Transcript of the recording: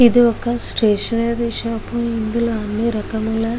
ఇది ఒక stationery shop ఇందులో అని రకముల --